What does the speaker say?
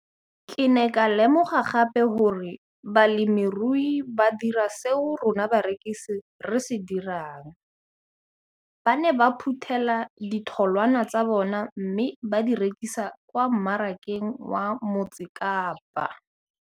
Ke ne ka lemoga gape gore balemirui ba dira seo rona barekisi re se dirang - ba ne ba phuthela ditholwana tsa bona mme ba di rekisa kwa marakeng wa Motsekapa.